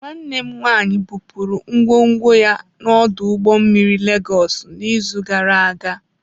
Nwanne m nwaanyị bupuru ngwongwo ya n'ọdụ ụgbọ mmiri Lagos n'izu gara aga.